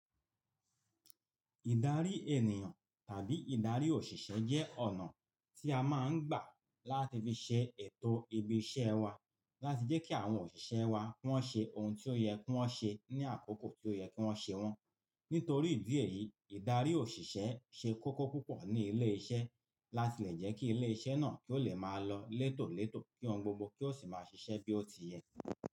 Ìdarí ènìyàn tàbí ìdarí òṣìṣẹ́ jẹ́ ọ̀nà tí a máa ń gbà láti fi ṣe ètò ibi iṣẹ́ wa láti jẹ́ kí àwọn òṣìṣẹ́ wa wọ́n ṣe ohun tí ó yẹ kí wọ́n ṣe ní àkókò tí ó yẹ kí wọ́n ṣe wọ́n. Nítorí ìdí èyí, ìdarí òṣìṣẹ́ ṣe kókó púpọ̀ ní ilé iṣẹ́ láti lè jẹ́ kí ilé iṣẹ́ náà kí ó lè máa lọ létò létò kí ohun gbogbo kí ó sì máa ṣiṣẹ́ bí ó ti yẹ.